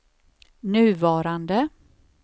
nuvarande